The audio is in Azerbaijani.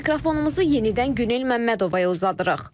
Mikrofonumuzu yenidən Günel Məmmədovaya uzadırıq.